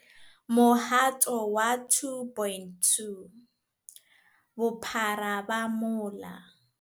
Mohato wa 2.2. Bophara ba mola